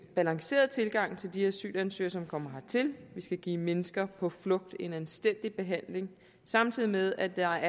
balanceret tilgang til de asylansøgere som kommer hertil vi skal give mennesker på flugt en anstændig behandling samtidig med at der